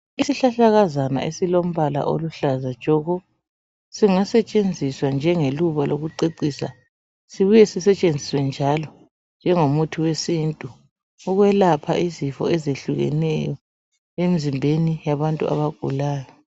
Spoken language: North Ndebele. Isihlahlakazana esilombala oluhlaza tshoko singasetshenziswa njengeluba lokucecisa sibuye sisetshenziswe njalo njengomuthi wesintu ukwelapha izifo ezehlukeneyo emzimbeni yabantu abagulayo.